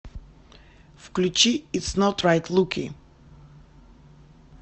включи итс нот райт луки